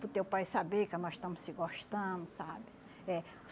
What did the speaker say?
para o teu pai saber que nós estamos se gostando, sabe? É